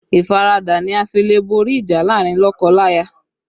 Ìfaradà ni a fi le borí ìjà láàrin lọ́kọ-láya